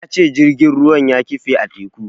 Ya ce jirgin ruwan ya kife a teku.